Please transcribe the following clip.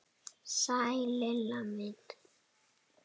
Sæl Lilla mín!